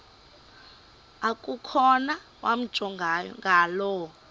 okukhona wamjongay ngaloo